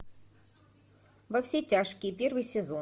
во все тяжкие первый сезон